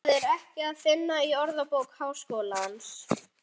Það er ekki að finna í Orðabók Háskólans.